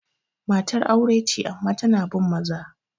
Matar aure ce amma tana bin maza.